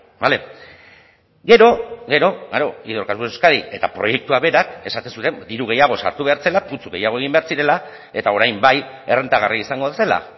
bale gero gero klaro hidrocarburos de euskadik eta proiektuak berak esaten zuen diru gehiago sartu behar zela putzu gehiago egin behar zirela eta orain bai errentagarria izango zela